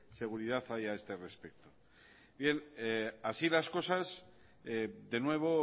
seguridad haya a este respecto bien así las cosas de nuevo